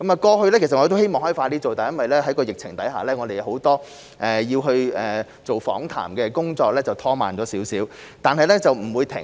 過去，我們希望能夠盡快進行研究，但因為疫情，訪談工作略為拖慢，但不會停止。